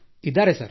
ಇದ್ದಾರೆ ಸರ್